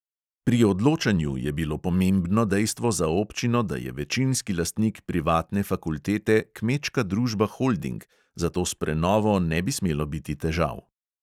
Pri odločanju je bilo pomembno dejstvo za občino, da je večinski lastnik privatne fakultete kmečka družba holding, zato s prenovo ne bi smelo biti težav.